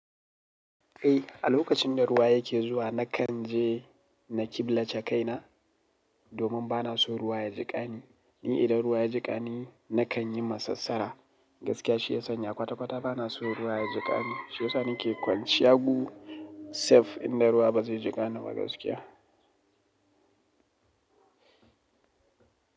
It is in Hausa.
Eh, a lokacin da ruwa yake zuwa nakanje na killace kaina domin bana so ruwa ya jiƙani. Ni idan ruwa ya jiƙani nakanyi masassara. Gaskiya shi ya sanya kwata kwata bana so ruwa ya jiƙani. Shi yasa nake kwanciya gu safe inda ruwa bazai jiƙa ni ba gaskiya.